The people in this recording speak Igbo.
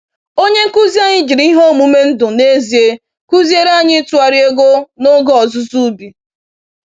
Onye nkuzi anyị jiri ihe omume ndụ n’ezie kụziere anyị ịtụgharị ego n’oge ọzụzụ ubi.